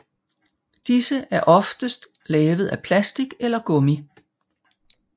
Disse er oftest lavet af plastik eller gummi